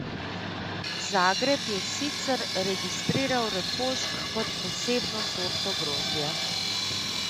Zagreb je sicer registriral refošk kot posebno sorto grozdja.